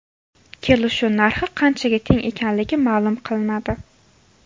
Kelishuv narxi qanchaga teng ekanligi ma’lum qilinadi.